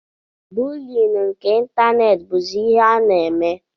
Buuli nke ịntanetị bụzi ihe a na-eme.